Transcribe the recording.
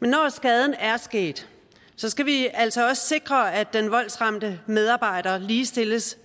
men når skaden er sket skal vi altså også sikre at den voldsramte medarbejder ligestilles